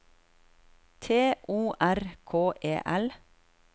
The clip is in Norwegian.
T O R K E L